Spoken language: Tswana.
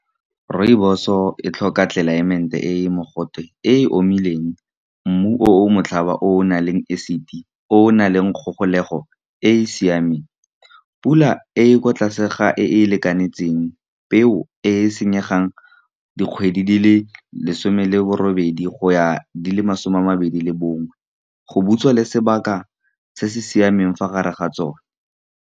Rooibos-o e tlhoka tlelaemete e e mogote, e e omileng, mmu o o motlhaba o o nang le acid, o o nang le kgogolego e e siameng. Pula e e kwa tlase ga e e lekanengtseng peo e e senyegang dikgwedi di le lesome le borobedi, go ya di le masome a mabedi le bongwe go butswa le sebaka se se siameng fa gare ga tsone.